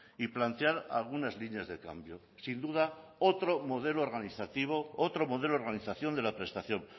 y plantear algunas líneas de cambio sin duda otro modelo organizativo otro modelo de organización de la prestación